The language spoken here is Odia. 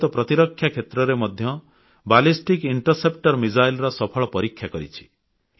ଭାରତ ପ୍ରତିରକ୍ଷା କ୍ଷେତ୍ରରେ ମଧ୍ୟ ବାଲିଷ୍ଟିକ୍ ଇଣ୍ଟରସେପ୍ଟର ମିସାଇଲ୍ ର ସଫଳ ପରୀକ୍ଷା କରିଛି